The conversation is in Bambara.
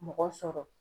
Mɔgɔ sɔrɔ